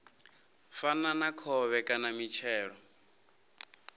fana na khovhe kana mitshelo